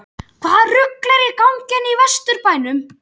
HVAÐA RUGL ER Í GANGI HÉRNA Í VESTURBÆNUM???